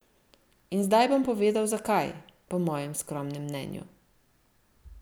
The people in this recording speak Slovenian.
In zdaj bom povedal, zakaj, po mojem skromnem mnenju.